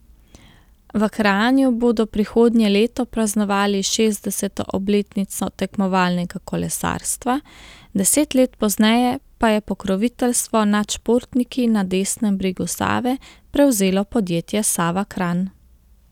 V Kranju bodo prihodnje leto praznovali šestdeseto obletnico tekmovalnega kolesarstva, deset let pozneje pa je pokroviteljstvo nad športniki na desnem bregu Save prevzelo podjetje Sava Kranj.